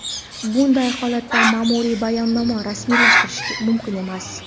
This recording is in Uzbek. bunday holatda maʼmuriy bayonnoma rasmiylashtirish mumkin emas.